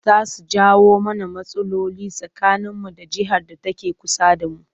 Za su jawo mana rmatsaloli tsakaninmu da jihar da take kusa da mu